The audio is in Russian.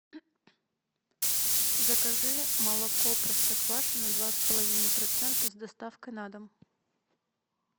закажи молоко простоквашино два с половиной процента с доставкой на дом